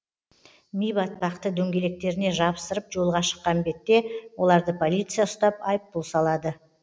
ми батпақты дөңгелектеріне жабыстырып жолға шыққан бетте оларды полиция ұстап айыппұл салады